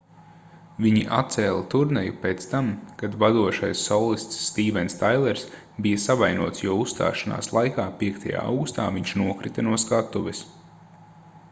viņi atcēla turneju pēc tam kad vadošais solists stīvens tailers bija savainots jo uzstāšanās laikā 5. augustā viņš nokrita no skatuves